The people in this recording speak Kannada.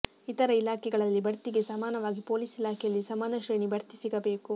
ಇತರೆ ಇಲಾಖೆಗಳಲ್ಲಿ ಬಡ್ತಿಗೆ ಸಮಾನವಾಗಿ ಪೊಲೀಸ್ ಇಲಾಖೆಯಲ್ಲಿ ಸಮಾನ ಶ್ರೇಣಿ ಬಡ್ತಿ ಸಿಗಬೇಕು